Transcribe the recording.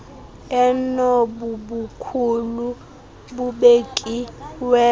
enobo bukhulu bubekiweyo